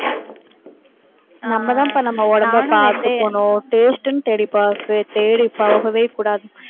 நம்ம தாம்பா நம்ம உடம்பை பார்த்துக்கணும் taste ன்னு தேடிப் பார்க்க, தேடிப் போகவே கூடாது.